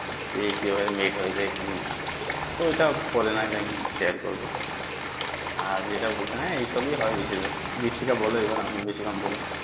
এই কি ভাবে meet হয়েছে কি না তো ওটা পরে না হয় একদিন share করবো আর যেটা বলছিলাম আর এই সবই হয় বেশির ভাগ বেশি টা বলা যাবে না অনেক বেশিক্ষন বলেনিয়েছি।